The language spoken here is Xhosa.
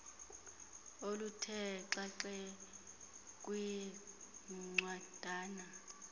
oluthe xaxe kwincwadana